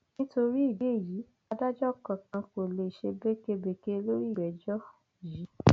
nítorí ìdí èyí adájọ kankan kò lè ṣe békebèke lórí ìgbẹjọ yìí